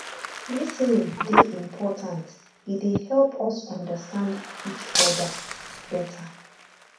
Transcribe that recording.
lis ten ing dey important e dey help us understand each other better